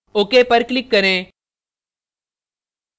ok पर click करें